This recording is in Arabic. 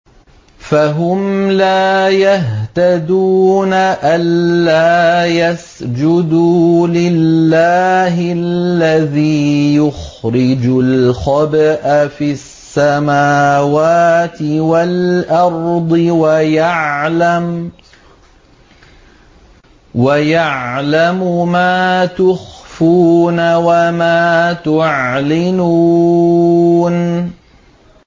أَلَّا يَسْجُدُوا لِلَّهِ الَّذِي يُخْرِجُ الْخَبْءَ فِي السَّمَاوَاتِ وَالْأَرْضِ وَيَعْلَمُ مَا تُخْفُونَ وَمَا تُعْلِنُونَ